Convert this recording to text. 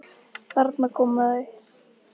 Þarna koma þau!